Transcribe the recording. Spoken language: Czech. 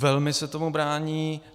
Velmi se tomu brání.